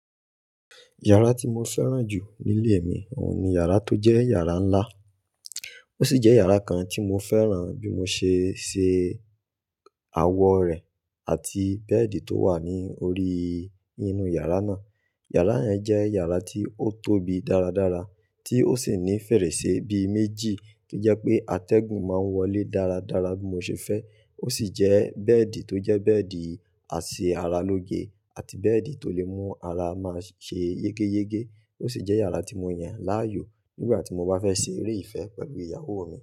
Yàrá tí mo fẹ́ràn jù ní ilé mi òun ni yàrá tó jẹ́ yàrá ńlá. Ó sì jẹ́ yàrá kan tí mo fẹ́ràn bí mo ṣe ṣe awọ rẹ̀ àti bẹ́ẹ̀dì tó wà ní orí inú yàrá náà. Yàrá yẹn jẹ́ yàrá tí ó tóbi dára dára, tí ó sì ní fèrèsé bí méjì to jẹ́ pé atẹ́gùn ma ń wọlé dára dára bí mo ṣe fẹ́. Ó sì jẹ́ bẹ́ẹ̀dì tó jẹ́ bẹ́ẹ̀dì àṣẹ ara lóge àti bẹ́ẹ̀dì tó lè mú ara máa ṣe yégéyégé. Ó sì jẹ́ yàrá tí mo yàn láàyò nígbà tí mo bá fẹ́ ṣe eré ìfẹ́ pẹ̀lú ìyàwó mi.